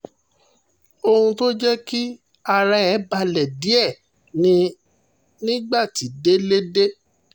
ohun tó jẹ́ kí ara ẹ̀ balẹ̀ díẹ̀ ni nígbà tí délé dé